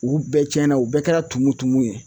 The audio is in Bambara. U bɛɛ tiɲɛna u bɛɛ kɛra tumu tumu ye